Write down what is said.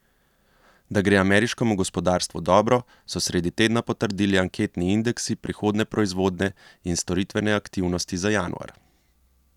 Da gre ameriškemu gospodarstvu dobro, so sredi tedna potrdili anketni indeksi prihodnje proizvodne in storitvene aktivnosti za januar.